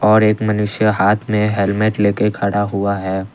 और एक मनुष्य हाथ में हेलमेट लेके खड़ा हुआ है।